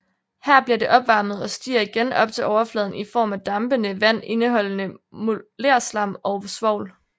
Her bliver det opvarmet og stiger igen op til overfladen i form af dampende vand indeholdende molerslam og svovl